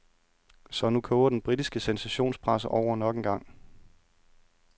Så nu koger den britiske sensationspresse over nok engang.